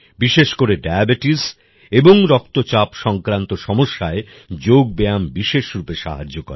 বিশেষ করে ডায়াবেটিস এবং রক্তচাপ সংক্রান্ত সমস্যায় যোগ ব্যায়াম বিশেষ রূপে সাহায্য করে